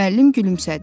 Müəllim gülümsədi.